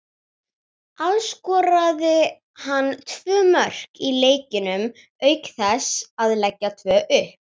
Alls skoraði hann tvö mörk í leikjunum auk þess að leggja tvö upp.